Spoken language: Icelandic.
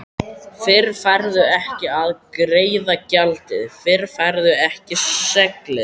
Fyrr færðu ekki að greiða gjaldið, fyrr færðu ekki seglin.